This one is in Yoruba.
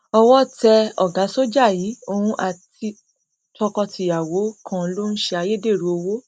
owó tẹ ọgá sójà yìí òun àti tọkọtìyàwó kan ló ń tẹ ayédèrú owó